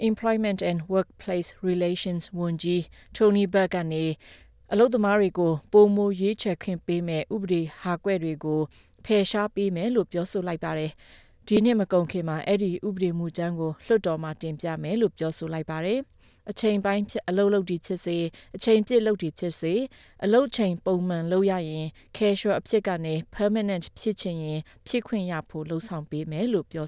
Employment and Workplace Relations ဝန်ကြီး Tony Burke က အလုပ်သမားတွေကို ပိုမိုရွေးချယ်ခွင့်ပေးမယ့် ဥပဒေဟာကွက်တွေကို ဖယ်ရှားပေးမယ်လို့ ပြောဆိုလိုက်ပါတယ်။ ဒီနှစ်မကုန်ခင်မှာ အဲဒီဥပဒေမူကြမ်းကို လွှတ်တော်မှာ တင်ပြမယ်လို့ ပြောဆိုလိုက်ပါတယ်။ အချိန်ပိုင်းဖြစ်စေ၊ အချိန်ပြည့်ဖြစ်စေ အလုပ်ချိန် ပုံမှန်လုပ်ရရင် casual အဖြစ်ကနေ permanent ဖြစ်ချင်ရင် ဖြစ်ခွင့်ရဖို့ လုပ်ဆောင်ပေးမယ်လို့ ပြော